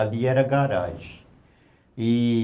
Ali era garagem, e